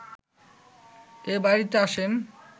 এ বাড়িতে আসেন